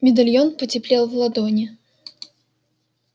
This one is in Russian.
медальон потеплел в ладони